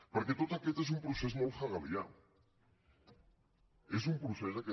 perquè tot aquest és un procés molt hegelià és un procés aquest